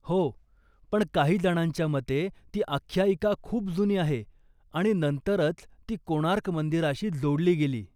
हो, पण काही जणांच्या मते ती आख्यायिका खूप जुनी आहे आणि नंतरच ती कोणार्क मंदिराशी जोडली गेली.